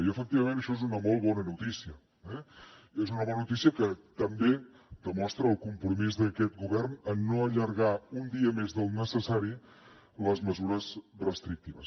i efectivament això és una molt bona notícia eh és una bona notícia que també demostra el compromís d’aquest govern en no allargar un dia més del necessari les mesures restrictives